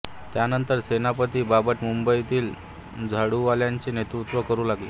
त्यानंतर सेनापती बापट मुंबईतीत झाडूवाल्यांचे नेतृत्व करू लागले